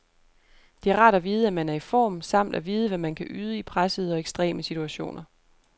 Det er rart at vide at man er i form, samt at vide hvad man kan yde i pressede og ekstreme situationer.